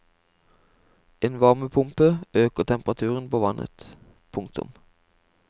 En varmepumpe øker temperaturen på vannet. punktum